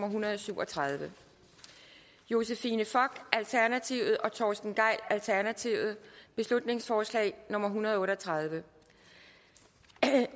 en hundrede og syv og tredive josephine fock og torsten gejl beslutningsforslag nummer hundrede og otte og tredive